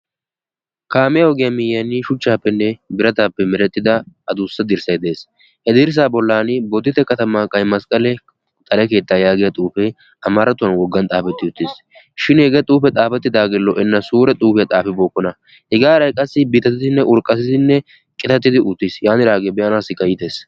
Kaamiya ogiya miyiyaani shuchchaappenne birataappe meretida adussa dirsday Des. He dirsaa bollaani bodditte katamaa qaymasqale xale keetta yaagiya xuufee amaarattuwan woggan xaafetti uttis. Shin hegee xuufee xaafettidaage lo'enna. Sure xuufiya xaafibookkona. Hegaa heeray qassi biittatidinne urqatidi qitatidi uttis. yaanidaage be'anaasikka iites.